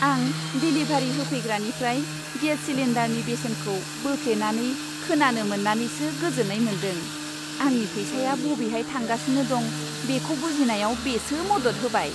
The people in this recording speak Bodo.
आं देलिभारी होफैग्रानिफ्राय गेस सिलिन्डारनि बेसेनखौ बोफ्लेनानै खोनानो मोन्नानैसो गोजोन्नाय मोनदों। आंनि फैसाया बबेहाय थांगासिनो दं बेखौ बुजिनायाव बेसो मदद होबाय।